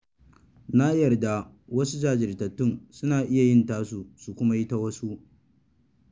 Na yarda wasu jajirtattu suna iya yin tasu su kuma yi ta wasu.